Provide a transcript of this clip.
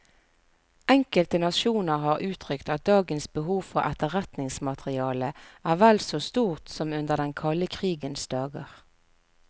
Enkelte nasjoner har uttrykt at dagens behov for etterretningsmateriale er vel så stort som under den kalde krigens dager.